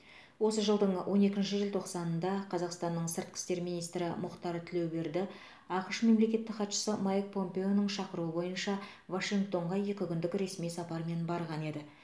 осы жылдың он екінші желтоқсанында қазақстанның сыртқы істер министрі мұхтар тілеуберді ақш мемлекеттік хатшысы майк помпеоның шақыруы бойынша вашингтонға екі күндік ресми сапармен барған еді